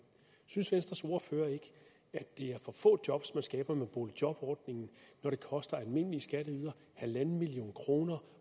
synes venstres ordfører ikke at det er for få job man skaber med boligjobordningen når det koster almindelige skatteydere en million kroner